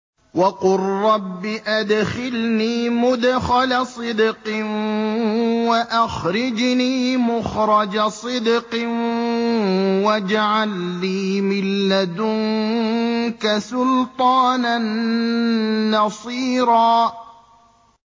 وَقُل رَّبِّ أَدْخِلْنِي مُدْخَلَ صِدْقٍ وَأَخْرِجْنِي مُخْرَجَ صِدْقٍ وَاجْعَل لِّي مِن لَّدُنكَ سُلْطَانًا نَّصِيرًا